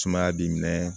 Sumaya b'i minɛ